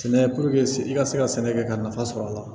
Sɛnɛ i ka se ka sɛnɛ kɛ ka nafa sɔrɔ a la